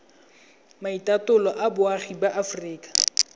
maitatolo a boagi ba aforika